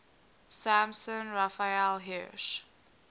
samson raphael hirsch